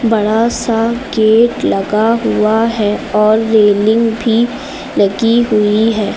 बड़ा सा गेट लगा हुआ है और रेलिंग भी लगी हुई है।